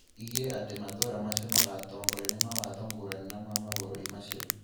igire atĩ matũra macio magatongorio nĩ mawatho ngũrani na ma mavũrũri macio.